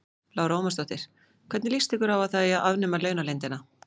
Lára Ómarsdóttir: Hvernig lýst ykkur á að það eigi að afnema launaleyndina?